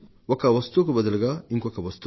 ఒక వస్తువుకు బదులుగా ఇంకొక వస్తువు